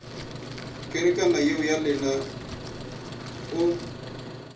kerekana yeo ya lena o